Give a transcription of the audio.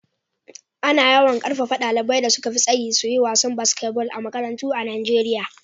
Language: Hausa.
Ana yawan ƙarfafa ɗaliban da suka fi tsayi su yi wasan basketball a makarantu a Nijeriya.